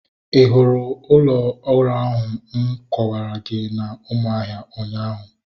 Ị hụrụ ụlọ ụrọ ahụ m kọwara gị na Umuahia ụnyaahụ?